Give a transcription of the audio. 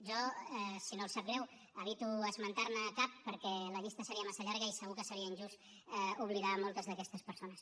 jo si no els sap greu evito esmentar ne cap perquè la llista seria massa llarga i segur que seria injust oblidar moltes d’aquestes persones